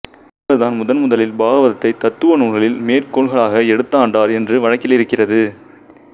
இவர்தான் முதன்முதலில் பாகவதத்தை தத்துவ நூல்களில் மேற்கோள்களாக எடுத்தாண்டார் என்று வழக்கிலிருக்கிறது